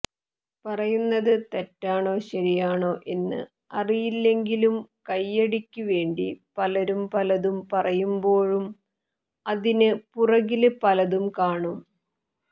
പറയുന്നത് തെറ്റാണോ ശരിയാണോ എന്ന് അറിയില്ലെങ്കിലും കൈയ്യടിക്ക് വേണ്ടി പലരും പലതും പറയുമ്പോഴും അതിന് പുറകില് പലതും കാണും